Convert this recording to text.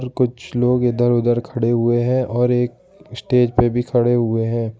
कुछ लोग इधर उधर खड़े हुए हैं और एकवी स्टेज पर भी खड़े हुए हैं।